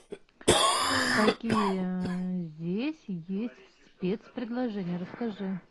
какие здесь есть спецпредложения расскажи